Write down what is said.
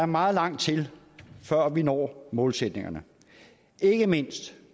meget langt til at vi når målsætningerne ikke mindst